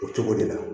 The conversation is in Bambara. O cogo de la